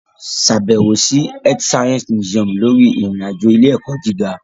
Ṣàbẹ̀wò sí Earth Science Museum lórí ìrìn-àjò ilé-ẹ̀kọ́ gíga.